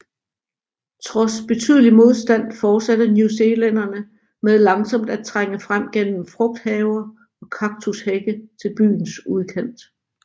Trods betydelig modstand fortsatte newzealænderne med langsomt at trænge frem gennem frugthaver og kaktushække til byens udkant